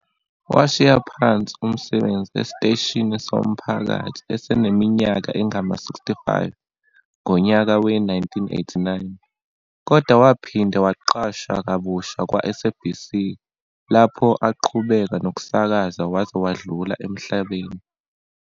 Washiya phansi umsebenzi esiteshini somphakathi eseneminyaka engama-65 ngonyaka we-1989, kodwa waphinde waqashwa kabusha kwa-SABC lapho aqhubeka nokusakaza waze wadlula emhlabeni.